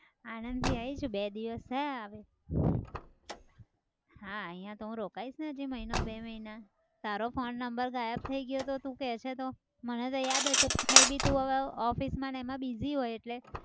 આણદથી આવી છું બે દિવસ થયા હવે. હા અહિયાં તો હું રોકાઇશ ને હજી મહિનો બે મહિના. તારો phone number ગાયબ થઇ ગયો હતો તું કે છે તો. મને તો યાદ હતું may be તું હવે office માં અને એમાં busy હોય એટલે.